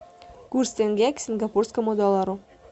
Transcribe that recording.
курс тенге к сингапурскому доллару